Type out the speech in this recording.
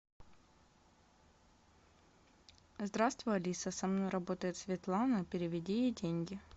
здравствуй алиса со мной работает светлана переведи ей деньги